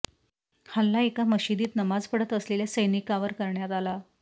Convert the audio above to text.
हल्ला एका मशिदीत नमाज पढत असलेल्या सैनिकांवर करण्यात आला